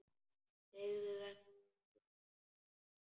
Segðu þetta engum sagði hann.